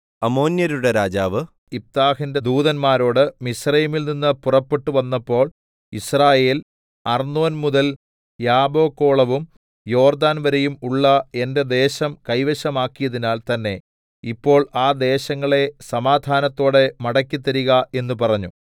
അമ്മോന്യരുടെ രാജാവ് യിഫ്താഹിന്റെ ദൂതന്മാരോട് മിസ്രയീമിൽ നിന്നു പുറപ്പെട്ടുവന്നപ്പോൾ യിസ്രായേൽ അർന്നോൻ മുതൽ യാബ്ബോക്കോളവും യോർദ്ദാൻ വരെയും ഉള്ള എന്റെ ദേശം കൈവശമാക്കിയതിനാൽ തന്നേ ഇപ്പോൾ ആ ദേശങ്ങളെ സമാധാനത്തോടെ മടക്കിത്തരിക എന്ന് പറഞ്ഞു